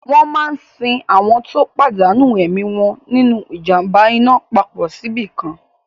Wọ́n máa sin àwọn tó pàdánù ẹ̀mí wọn nínu ìjàm̀ba iná papọ̀ síbìkan